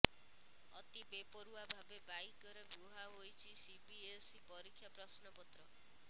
ଅତି ବେପରୁଆ ଭାବେ ବାଇକରେ ବୁହା ହୋଇଛି ସିବିଏସଇ ପରୀକ୍ଷା ପ୍ରଶ୍ନପତ୍ର